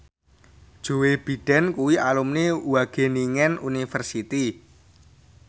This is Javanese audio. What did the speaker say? Joe Biden kuwi alumni Wageningen University